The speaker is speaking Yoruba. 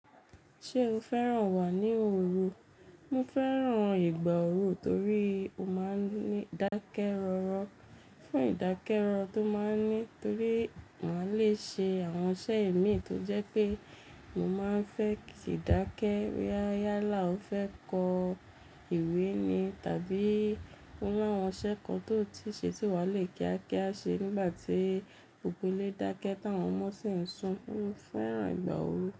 Ṣé o fẹ́ràn wà ní òru? Mo fẹ́ràn ìgbà òru torí ó máa ń ní ìdákẹ́ rọ́rọ́. Fún ìdákẹ́rọ́rọ tó máa ń ní torí màá le ṣe àwọn iṣẹ́ ẹ̀mí tó jẹ́ pé mo máa ń fẹ́ kí ìdákẹ́ yálà ó fẹ́ kọ ìwé ni tàbí ó làwọn iṣẹ́ kan tó ti ṣe tí wa le kíákíá ṣe nígbàtí gbogbo ile dakẹ táwọn ọmọ sì ń sun. Mo fẹ́ràn ìgbà òru.